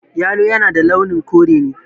Yalo na da launin kore ne